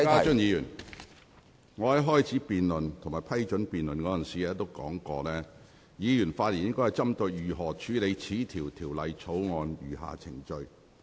邵家臻議員，我在批准這項辯論時已經說明，議員發言時應針對如何處理《條例草案》的餘下程序。